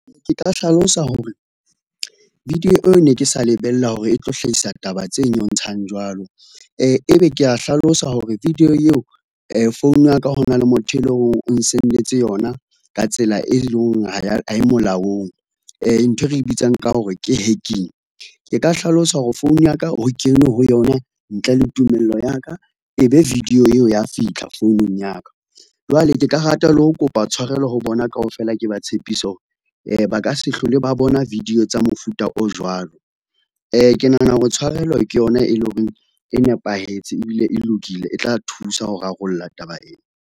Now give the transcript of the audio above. Ke tla hlalosa hore, video eo ne ke sa lebella hore e tlo hlahisa taba tse nyontshang jwalo , ebe kea hlalosa hore video eo phone ya ka hona le motho e leng hore o nhsend-etse yona ka tsela e leng hore ha e molaong, nthwe re bitsang ka hore ke hacking, ke ka hlalosa hore phone ya ka ho kenwe ho yona ntle le tumello ya ka, e be video eo ya fitlha founung ya ka. Jwale ke ka rata le ho kopa tshwarelo ho bona kaofela, ke ba tshepise ba ka se hlole ba bona video tsa mofuta o jwalo. Ke nahana hore tshwarelo ke yona e leng hore e nepahetse ebile e lokile, e tla thusa ho rarolla taba ena.